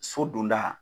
So donda